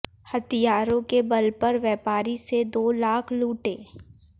हथियारों के बल पर व्यापारी से दो लाख लूटे